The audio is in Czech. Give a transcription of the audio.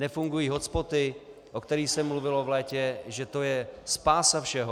Nefungují hotspoty, o kterých se mluvilo v létě, že to je spása všeho.